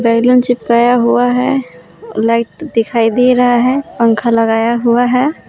Balloon चिपकाए हुआ है लाइट दिखाई दे रहा है पंखा लगाया हुआ है।